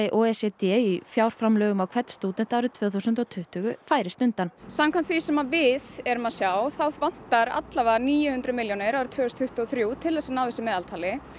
o e c d í fjármframlögum á hvern stúdent árið tvö þúsund tuttugu færist undan samkvæmt því sem við erum að sjá þá vantar níu hundruð milljónir árið tvö þúsund tuttugu og þrjú til þess að ná þessu meðaltali